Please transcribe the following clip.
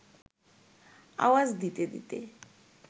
আওয়াজ দিতে দিতে